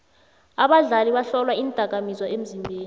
abadlali bahlolwa iindakamizwa emzimbeni